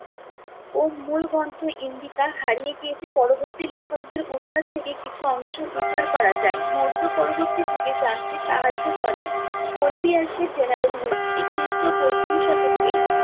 ও মূল গ্রন্থ ইন্ডিকা হারিয়ে গিয়েছে, পরবর্তী লেখকদের উদ্ধার থেকে কিছু অংশ উদ্ধার করা যায়। মৌর্য পরবর্তী যুগে জানতে সাহায্য করে। general history খ্রিস্টীয় প্রথম শতকে